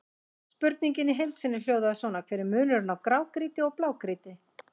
Spurningin í heild sinni hljóðaði svona: Hver er munurinn á grágrýti og blágrýti?